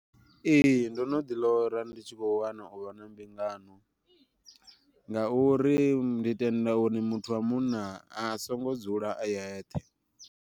Ee ndo no ḓi lora ndi tshi kho wana uvha na mbingano, ngauri ndi tenda uri muthu wa munna a songo dzula a yeṱhe.